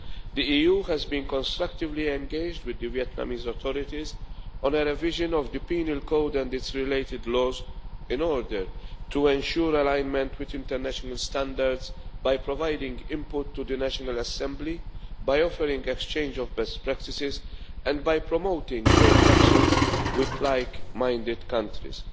The EU has been constructively engaged with the Vietnamese authorities on a revision of the penal code and its related laws, in order to ensure alignment with international standards by providing input to the National Assembly, by offering exchange of best practices, and by promoting joint actions with like minded countries.